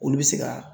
Olu bɛ se ka